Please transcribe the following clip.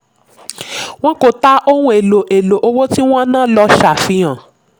wọ́n kò tà ohun èlò èlò owó tí wọ́n ná ló ṣàfihàn.